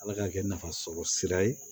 Ala ka kɛ nafasɔrɔ sira ye